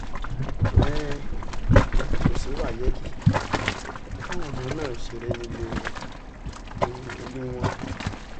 um kò sí wáyéèkì káwọn ọmọ máa ṣeré nílé ile ilu wọn